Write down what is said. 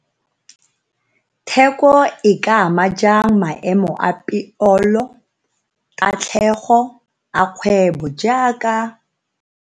Theko e ka ama jang maemo a peolo kgotsa tatlhego a kgwebo jaaka?